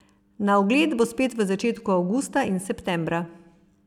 Na ogled bo spet v začetku avgusta in septembra.